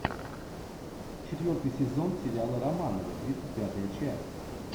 четвертый сезон сериала романовы тридцать пятая часть